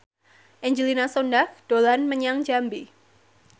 Angelina Sondakh dolan menyang Jambi